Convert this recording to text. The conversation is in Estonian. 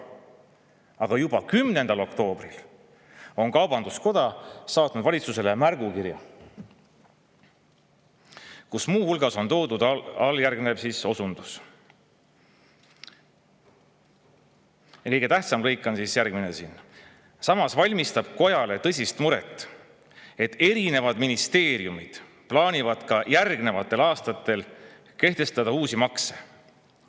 Aga juba 10. oktoobril saatis kaubanduskoda valitsusele märgukirja, kus muu hulgas on toodud alljärgnev osundus, mille kõige tähtsam lõik on järgmine: "Samas valmistab kojale tõsist muret, et erinevad ministeeriumid plaanivad ka järgnevatel aastatel kehtestada uusi makse.